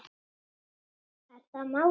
Er það málið?